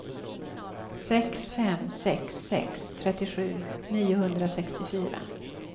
sex fem sex sex trettiosju niohundrasextiofyra